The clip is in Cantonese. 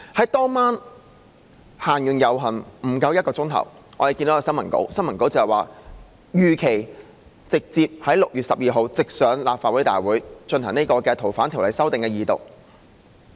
在當天晚上遊行完結後不足1小時，我們看到新聞稿，說如期在6月12日直接提交立法會大會，恢復《條例草案》的二讀。